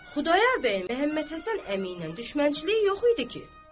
Xudayar bəyin Məmmədhəsən əmi ilə düşmənçiliyi yox idi ki?